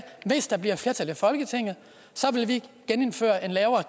hvis der bliver flertal i folketinget vil vi genindføre en lavere